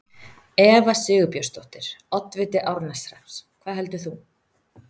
Eva Sigurbjörnsdóttir, oddviti Árneshrepps: Hvað heldur þú?